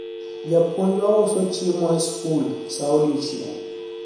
japuonjwa uso chiemo e sikul sa odiechieng'